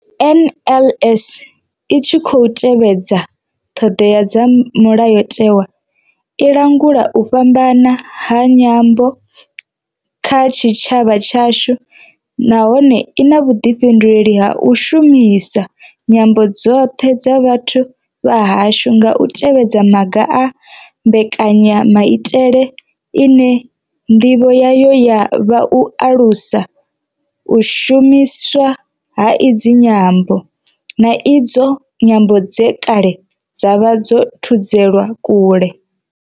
NLS I tshi khou tevhedza ṱhodea dza Mulayotewa, i langula u fhambana ha nyambo kha tshitshavha tshashu nahone I na vhuḓifhinduleli ha u shumisa nyambo dzoṱhe dza vhathu vha hashu nga u tevhedza maga a mbekanya maitele ine ndivho yayo ya vha u alusa u shumiswa ha idzi nyambo, na idzo nyambo dze kale dza vha dzo thudzelwa kule.